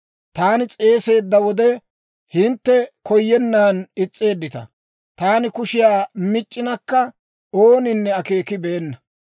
Taani s'eeseedda wode, hintte koyennan is's'eeddita; taani kushiyaa mic'c'inakka, ooninne akeekibeenna.